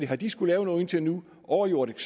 har de skullet lave noget indtil nu overjordisk